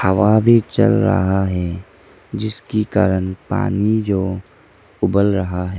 हवा भी चल रहा है जिसकी कारण पानी जो उबल रहा है।